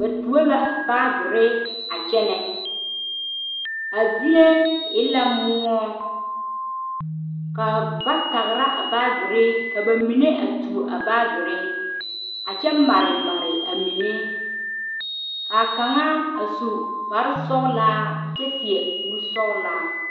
Ba tuo la baagiri a kyɛnɛ, a zie e la moɔ ka ba tagira a baagiri ka bamine a tuo a baagiri a kyɛ mare mare amine, k'a kaŋa a su kpare sɔgelaa kyɛ seɛ kuri sɔgelaa.